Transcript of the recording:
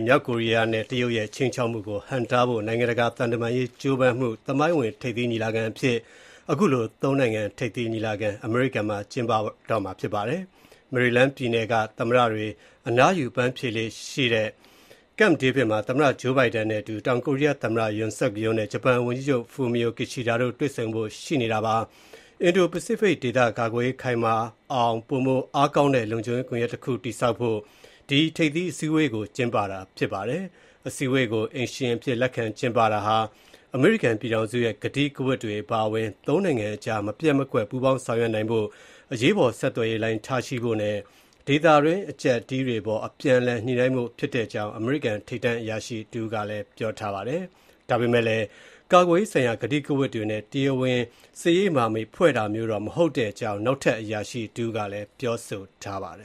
မြောက်ကိုရီးယားနဲ့ တရုတ်ရဲ့ ခြိမ်းခြောက်မှုကို ဟန့်တားဖို့ နိုင်ငံတကာ သံတမန်ရေး ကြိုးပမ်းမှု သမိုင်းဝင် ထိပ်သီးညီလာခံအဖြစ် ဒီနေ့ အမေရိကန်ပြည်ထောင်စု၊ တောင်ကိုရီးယားနဲ့ ဂျပန် သုံးနိုင်ငံ ထိပ်သီးညီလာခံ အမေရိကန်မှာ ကျင်းပပါတယ်။ မေရီလန်းပြည်နယ်က သမ္မတတွေ အနားယူ အပန်းဖြေလေ့ရှိတဲ့ Camp David မှာ သမ္မတ Joe Biden နဲ့အတူ တောင်ကိုရီးယား သမ္မတ Yoon Suk Yeol နဲ့ ဂျပန်ဝန်ကြီးချုပ် Fumio Kishida တို့ တွေ့ဆုံကြတာပါ။ အင်ဒိုပစိဖိတ်ဒေသကာကွယ်ရေး ခိုင်မာအောင် ပိုမိုအားကောင်းတဲ့ လုံခြုံရေး ကွန်ယက်တခု တည်ဆောက်ဖို့ ဒီ ထိပ်သီးအစည်းအဝေးကို ကျင်းပတာဖြစ်ပါတယ်။ အစည်းအဝေးကို အိမ်ရှင်အဖြစ် လက်ခံကျင်းပတာဟာ အမေရိကန်ပြည်ထောင်စုရဲ့ ကတိကဝတ်တွေ အပါအဝင် သုံးနိုင်ငံအကြား မပျက်မကွက် ပူးပေါင်းဆောင်ရွက်နိုင်ဖို့၊ အရေးပေါ် ဆက်သွယ်ရေးလိုင်း ထားရှိဖို့နဲ့ ဒေသတွင်း အကျပ်အတည်းတွေအပေါ် အပြန်အလှန် ညှိ့နိုင်းဖို့ ဖြစ်တဲ့အကြောင်း အမေရိကန် ထိပ်တန်း အရာရှိတဦးက ပြောပါတယ်။ ဒါပေမဲ့လည်း ကာကွယ်ရေးဆိုင်ရာ ကတိကဝတ်တွေနဲ့ တရားဝင် စစ်ရေးမဟာမိတ်ဖွဲ့တာမျိုး တော့ မဟုတ်တဲ့အကြောင်း နောက်ထပ် အရာရှိတဦးကလည်း ပြောဆိုပါတယ